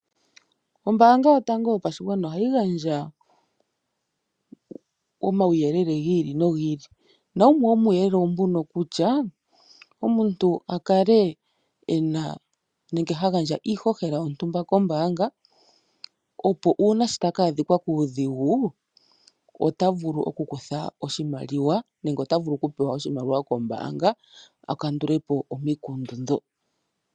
Ombaanga Yotango Yopashigwana ohayi gandja omauyelele gi ili nogi ili nawumwe womuuyelele owo mbuno kutya omuntu a kale e na nenge ha gandja iihohela yontumba kombaanga, opo uuna ta ka adhika kuudhigu ota vulu okukutha oshimaliwa nenge ota vulu okupewa oshimaliwa kombaanga a kandule po omikundu ndho.